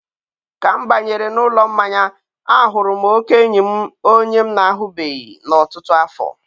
ka m banyere n'ụlọ mmanya, a hụrụ oke enyi m onye m na-ahụbeghị n'ọtụtụ afọ.